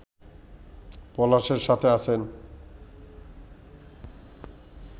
পলাশের সাথে আছেন